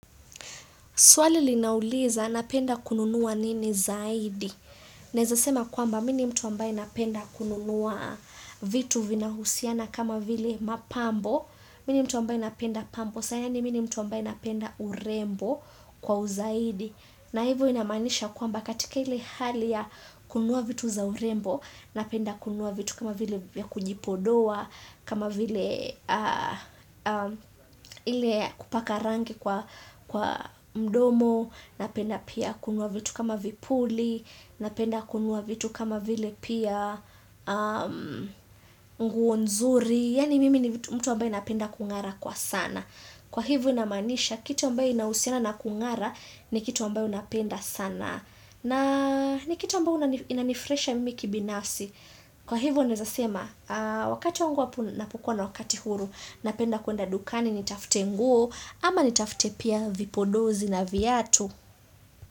Swali linauliza napenda kununua nini zaidi. Naeza sema kwamba mimi ni mtu ambaye napenda kununua vitu vinahusiana kama vile mapambo. Mimi ni mtu ambaye napenda pambo sana mimi ni mtu ambaye napenda urembo kwa uzaidi. Na hivo inamaanisha kwamba katika ile hali ya kununua vitu za urembo napenda kununua vitu kama vile vya kujipodoa. Kama vile ile ya kupaka rangi kwa mdomo napenda pia kununua vitu kama vipuli, napenda kununua vitu kama vile pia nguo nzuri yaani mimi ni mtu ambaye napenda kungara kwa sana kwa hivo inamaanisha kitu ambayo inausiana na kungara ni kitu ambayo huwa napenda sana na ni kitu ambao inanifurahisha mimi kibinafsi kwa hivo naeza sema wakati huwa ninapokuwa na wakati huru napenda kuenda dukani nitafute nguo ama nitafute pia vipodozi na viatu.